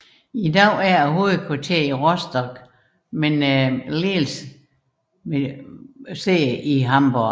I dag er hovedkvarteret i Rostock med ledelsesfunktioner i Hamborg